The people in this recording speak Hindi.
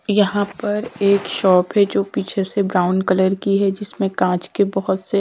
यहां पर एक शॉप है जो पीछे से ब्राउन कलर की है जिसमें कांच के बहोत से--